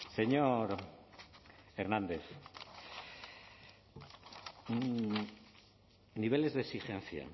señor hernández niveles de exigencia